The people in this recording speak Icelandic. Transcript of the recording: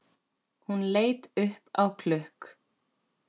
Hún leit upp á klukk